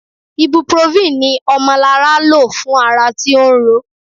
Ibuprofen ni Omolara lò fún ara tí ó ń ro.